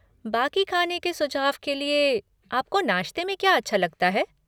बाक़ी खाने के सुझाव के लिए, आपको नाश्ते में क्या अच्छा लगता है?